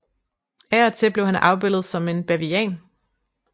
Af og til blev han afbildet som en bavian